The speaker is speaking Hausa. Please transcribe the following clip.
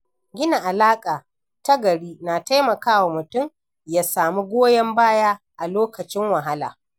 Gina alaƙa ta gari na taimakawa mutum ya samu goyon baya a lokacin wahala.